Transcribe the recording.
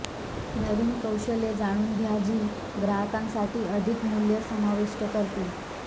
नवीन कौशल्ये जाणून घ्या जी ग्राहकांसाठी अधिक मूल्य समाविष्ट करतील